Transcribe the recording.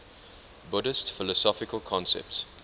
buddhist philosophical concepts